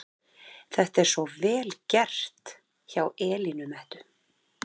Þetta er svo VEL GERT hjá Elínu Mettu!